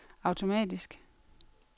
automatisk